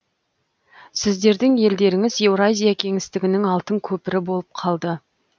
сіздердің елдеріңіз еуразия кеңістігінің алтын көпірі болып қалды